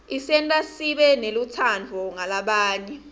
isenta sibe nelutsandvo ngalabanye